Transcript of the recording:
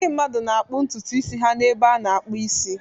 Ndị mmadụ na-akpụ ntutu isi ha n'ebe a na-akpụ isi.